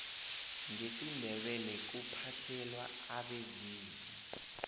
ngesindebele kuphahlelwa abezimu